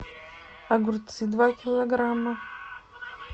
огурцы два килограмма